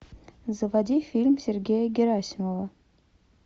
заводи фильм сергея герасимова